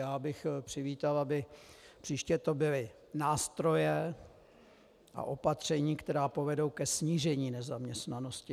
Já bych přivítal, aby příště to byly nástroje a opatření, které povedou ke snížení nezaměstnanosti.